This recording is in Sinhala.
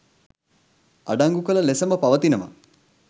අඩංගු කළ ලෙසම පවතිනවා.